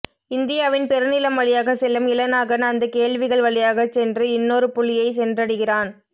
இந்தியாவின் பெருநிலம் வழியாகச் செல்லும் இளநாகன் அந்தக் கேள்விகள் வழியாகச் சென்று இன்னொரு புள்ளியைச் சென்றடைகிறான்